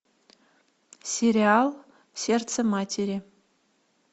сериал сердце матери